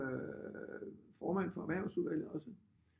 Formand for erhvervsudvalget også